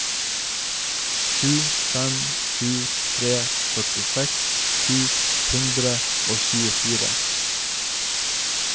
sju fem sju tre førtiseks sju hundre og tjuefire